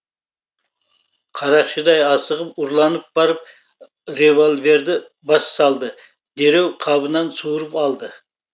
қарақшыдай асығып ұрланып барып револьверді бас салды дереу қабынан суырып алды